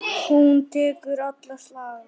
Hún tekur alla slagi.